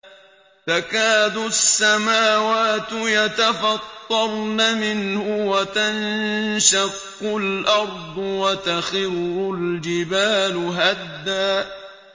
تَكَادُ السَّمَاوَاتُ يَتَفَطَّرْنَ مِنْهُ وَتَنشَقُّ الْأَرْضُ وَتَخِرُّ الْجِبَالُ هَدًّا